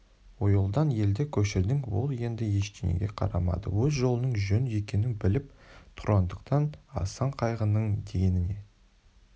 ойылдан елді көшірдің ол енді ештеңеге қарамады өз жолының жөн екенін біліп тұрғандықтан асан қайғының дегеніне